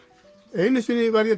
einu sinni var ég